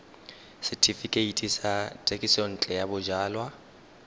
setefikeiti sa thekisontle ya bojalwa